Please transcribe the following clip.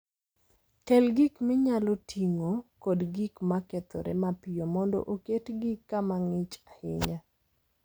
Kel gik minyalo ting'o kod gik ma kethore mapiyo mondo oketgi kama ng'ich ahinya.